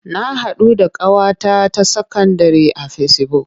Na haɗu da ƙawata ta sakandire a fesibuk.